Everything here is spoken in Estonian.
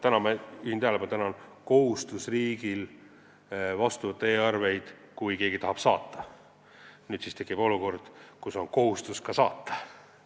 Täna, ma juhin tähelepanu, on riigil kohustus vastu võtta e-arveid, kui keegi tahab neid saata, nüüd tekib olukord, kus on kohustus neid ka saata.